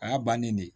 A y'a bannen de